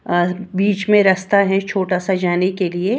अ बीच में रास्ता है छोटा सा जाने के लिए।